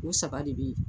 O saba de be yen